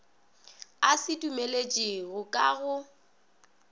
a se dumeletšego ka go